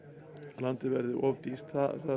landið verði of dýrt